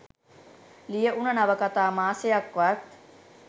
ලියවුණ නවකතා මාසයක්වත්